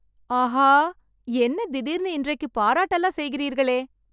ஆஹா.. என்ன திடீர்னு இன்றைக்கு பாராட்டலாம் செய்கிறீர்களே..